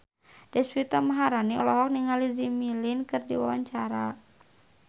Deswita Maharani olohok ningali Jimmy Lin keur diwawancara